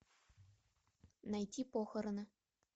найти похороны